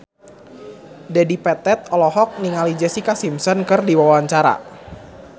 Dedi Petet olohok ningali Jessica Simpson keur diwawancara